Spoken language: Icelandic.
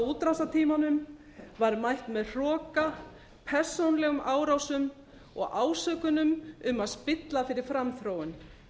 útrásartímanum var mætt með hroka persónulegum árásum og ásökunum um að spilla fyrir framþróun